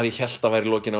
ég hélt að væru lokin